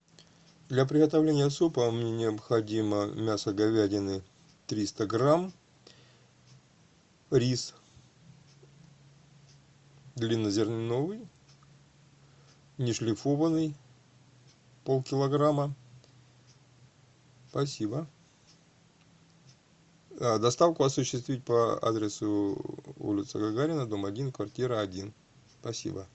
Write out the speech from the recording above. для приготовления супа мне необходимо мясо говядины триста грамм рис длиннозерновый нешлифованный полкилограмма спасибо доставку осуществить по адресу улица гагарина дом один квартира один спасибо